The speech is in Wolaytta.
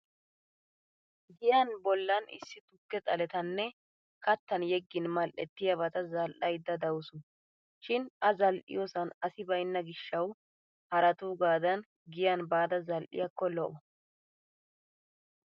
Giyaan bollan issi tukke xaletanna kattan yeggin madhdhettiyabata zal'aydda dawusu. Shin a zal'iyoosan asi baynna gishshawu haraatuugaadan giyaan baada zal'iyaakko lo'o.